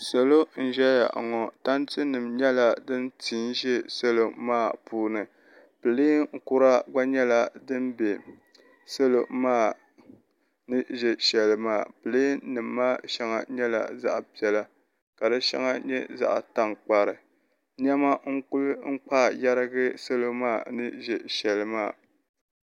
Salo n ʒɛya ŋo tanti nim nyɛla din ti n ʒɛ salo maa puuni pileen kura gba nyɛla din ʒɛ salo maa ni bɛ shɛli maa pileen nim maa shɛŋa nyɛla zaɣ piɛla ka di shɛŋa nyɛ zaɣ tankpari niɛma n kuli kpaa yɛrigi salo maa ni ʒɛ shɛli maa